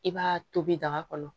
I b'a tobi daga kɔnɔ